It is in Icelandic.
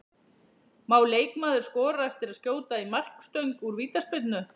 Má leikmaður skora eftir að skjóta í markstöng úr vítaspyrnu?